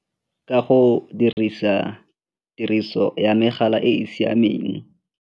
Ka go dirisa tiriso ya megala e e siameng.